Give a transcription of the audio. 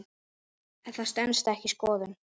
Það stenst ekki skoðun.